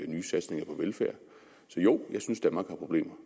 nye satsninger på velfærd så jo jeg synes danmark har problemer